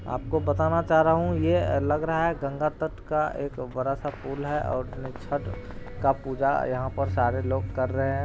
आपको बताना चाह रहा हूँ ये लग रहा है गंगा तट का एक बड़ा- सा पूल है और छठ का पूजा यहाँ पर सारे लोग कर रहै है।